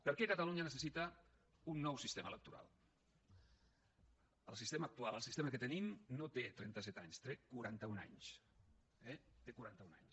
per què catalunya necessita un nou sistema electoral el sistema actual el sistema que tenim no té trenta set anys té quaranta un anys eh té quaranta un anys